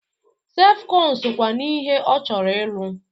Sefkọn sokwa n'ihe ọ chọrọ ịrụ.